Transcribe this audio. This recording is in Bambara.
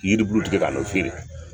Yiri bulutigɛ ka n'o fiyere